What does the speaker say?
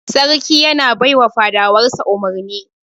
Sarki yana bai wa fadawar sa umurni.